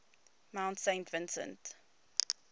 mount saint vincent